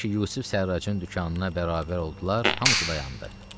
Elə ki, Yusif Sərracın dükanına bərabər oldular, hamısı dayandı.